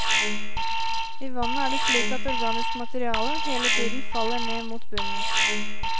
I vannet er det slik at organisk materiale hele tiden faller ned mot bunnen.